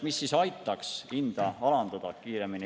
Mis aitaks hinda kiiremini alandada?